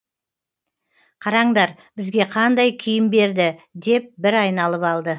қараңдар бізге қандай киім берді деп бір айналып алды